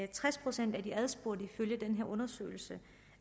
tres procent af de adspurgte mener ifølge den her undersøgelse